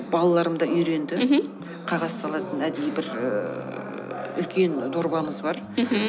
балаларым да үйренді мхм қағаз салатын әдейі бір ііі үлкен дорбамыз бар мхм